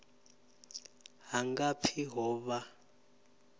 ha nga pfi ho vha